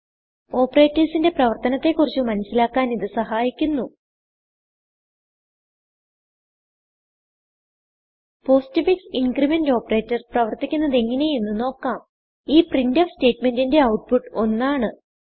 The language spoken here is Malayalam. operatorsന്റെ പ്രവർത്തനത്തെ കുറിച്ച് മനസിലാക്കാൻ ഇത് സഹായിക്കുന്നു പോസ്റ്റ്ഫിക്സ് ഇൻക്രിമെന്റ് operatorപ്രവർത്തിക്കുന്നത് എങ്ങനെ എന്ന് നോക്കാം ഈ പ്രിന്റ്ഫ് സ്റ്റേറ്റ്മെന്റിന്റെ ഔട്ട്പുട്ട് 1 ആണ്